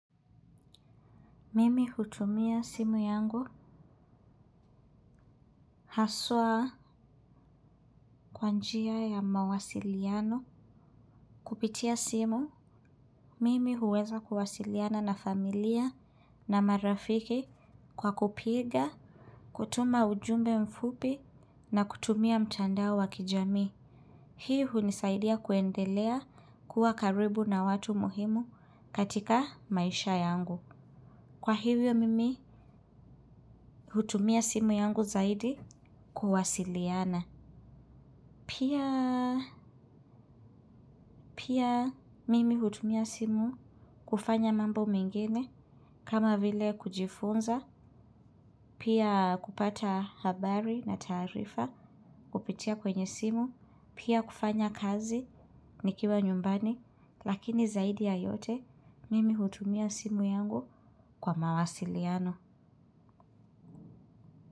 Mimi hutumia simu yangu haswa kwa njia ya mawasiliano. Kupitia simu mimi huweza kuwasiliana na familia na marafiki kwa kupiga kutuma ujumbe mfupi na kutumia mtandao wa kijamii hii hunisaidia kuendelea kuwa karibu na watu muhimu katika maisha yangu. Kwa hivyo mimi hutumia simu yangu zaidi kuwasiliana. Pia mimi hutumia simu kufanya mambo mengine kama vile kujifunza, pia kupata habari na taarifa kupitia kwenye simu, pia kufanya kazi nikiwa nyumbani, lakini zaidi ya yote mimi hutumia simu yangu kwa mawasiliano.